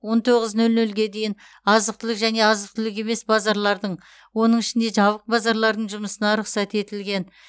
он тоғыз нөл нөлге дейін азық түлік және азық түлік емес базарлардың оның ішінде жабық базарлардың жұмысына рұқсат етілген